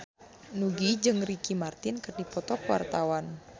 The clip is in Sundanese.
Nugie jeung Ricky Martin keur dipoto ku wartawan